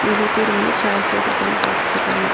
நெறைய பேரு வந்து சேர் போட்டு உட்கார்ந்து பார்த்துட்டுருக்காங்க.